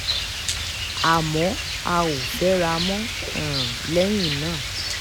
àmọ́ a ò fẹ́ra mọ́ um lẹ́yìn náà